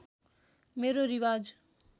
मेरो रिवाज